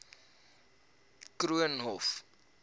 koornhof